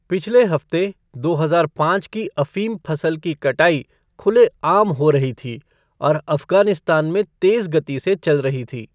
पिछले हफ्ते, दो हजार पाँच की अफ़ीम फसल की कटाई खुले आम हो रही थी और अफ़गानिस्तान में तेज गति से चल रही थी।